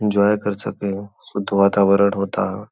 Enjoy कर सकें शुद्ध वातावरण होता है।